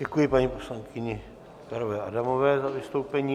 Děkuji paní poslankyni Pekarové Adamové za vystoupení.